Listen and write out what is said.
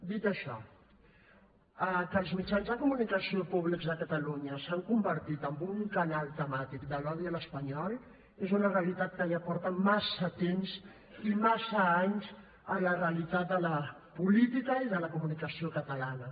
dit això que els mitjans de comunicació públics de catalunya s’han convertit en un canal temàtic de l’odi a allò espanyol és una realitat que ja porta massa temps i massa anys a la realitat de la política i de la comunicació catalana